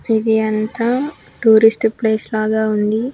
ఇది అంతా tourist place లాగా ఉంది.